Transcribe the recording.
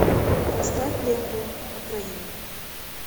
поставь ленту окраина